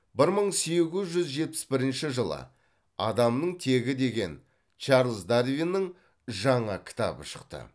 бір мың сегіз жүз жетпіс бірінші жылы адамның тегі деген чарлз дарвиннің жаңа кітабы шықты